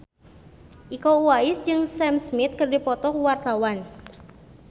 Iko Uwais jeung Sam Smith keur dipoto ku wartawan